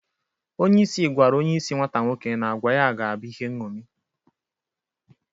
Onyeisi gwara onyeisi nwata nwoke na agwa ya ga-abụ ihe nṅomi.